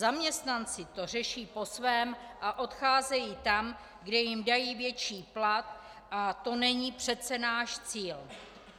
Zaměstnanci to řeší po svém a odcházejí tam, kde jim dají větší plat, a to není přece náš cíl.